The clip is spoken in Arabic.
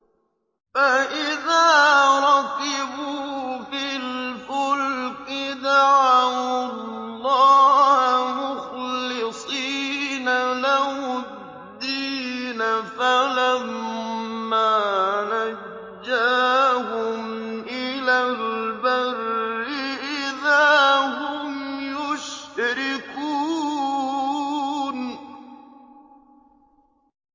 فَإِذَا رَكِبُوا فِي الْفُلْكِ دَعَوُا اللَّهَ مُخْلِصِينَ لَهُ الدِّينَ فَلَمَّا نَجَّاهُمْ إِلَى الْبَرِّ إِذَا هُمْ يُشْرِكُونَ